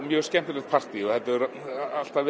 mjög skemmtilegt partí og það hefur alltaf